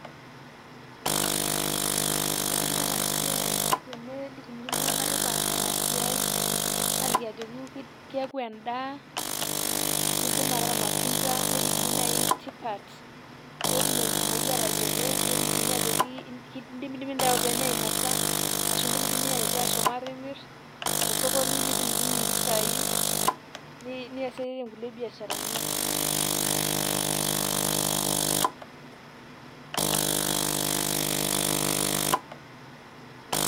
kitobiri enaa siai enelikini iltunganak tipat enasiai aliki ajoki keaku enda nidim ataa ilmatunda nelikini nai tipat petum enkumoi atayiolo nelikini ajoki indimidimi ainosa nindimidimi aitaa atimir tosokoni nitumutumu mpisai niasiesie nkulie biasharani